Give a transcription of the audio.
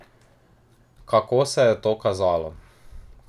Kako se je to kazalo?